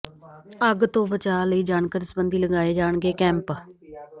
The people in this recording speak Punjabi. ਅੱਗ ਤੋਂ ਬਚਾਅ ਲਈ ਜਾਣਕਾਰੀ ਸਬੰਧੀ ਲਗਾਏ ਜਾਣਗੇ ਕੈਂਪ